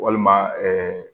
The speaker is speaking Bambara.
Walima